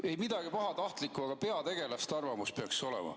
Ei midagi pahatahtlikku, aga peategelaste arvamus peaks olema.